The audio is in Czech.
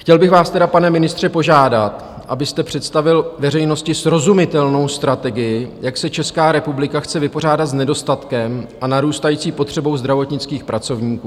Chtěl bych vás teda, pane ministře, požádat, abyste představil veřejnosti srozumitelnou strategii, jak se Česká republika chce vypořádat s nedostatkem a narůstající potřebou zdravotnických pracovníků.